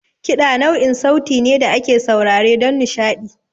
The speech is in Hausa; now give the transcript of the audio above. Kiɗa nau'in sauti ne da ake saurare don nishaɗi.